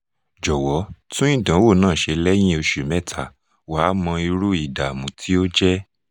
jọ̀wọ́ tún ìdánwò náà ṣe lẹ́yìn ọ̀sẹ̀ mẹ́ta wà á mọ irú ìdààmú tí ó jẹ́